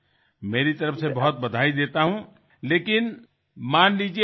আমার তরফ থেকে আপনার জন্য অনেক শুভেচ্ছা রইলো